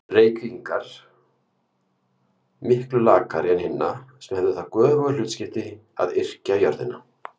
Reykvíkinga miklu lakari en hinna, sem hefðu það göfuga hlutskipti að yrkja jörðina.